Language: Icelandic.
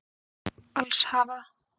Alls hafa